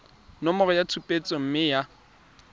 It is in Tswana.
nomoro ya tshupetso mme ya